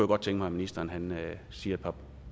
godt tænke mig ministeren siger et par